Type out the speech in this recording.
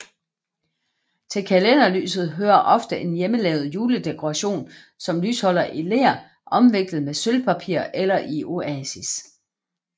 Til kalenderlyset hører ofte en hjemmelavet juledekoration som lysholder i ler omviklet med sølvpapir eller i oasis